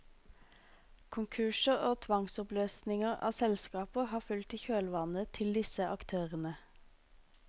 Konkurser og tvangsoppløsninger av selskaper har fulgt i kjølvannet til disse aktørene.